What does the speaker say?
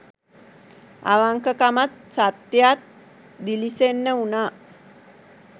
අවංකකමත් සත්‍යයත් දිළිසෙන්න වුනා